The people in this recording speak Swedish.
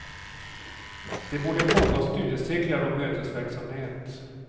Det borde pågå studiecirklar och mötesverksamhet.